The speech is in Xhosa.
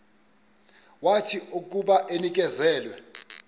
wathi akuba enikezelwe